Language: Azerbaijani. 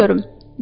Sıçanı görüm.